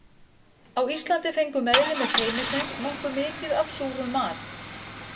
Á Íslandi fengu meðlimir teymisins nokkuð mikið af súrum mat.